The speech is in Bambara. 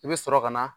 I bɛ sɔrɔ ka na